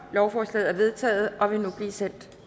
lovforslaget er vedtaget og vil nu blive sendt